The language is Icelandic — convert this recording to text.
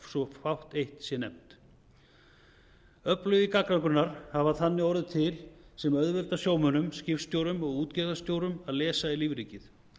svo fátt eitt sé nefnt öflugir gagnagrunnar hafa þannig orðið til sem auðvelda sjómönnum skipstjórum og útgerðarstjórum að lesa í lífríkið